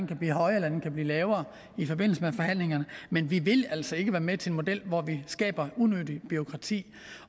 kan blive højere eller den kan blive lavere i forbindelse med forhandlingerne men vi vil altså ikke være med til en model hvor vi skaber unødigt bureaukrati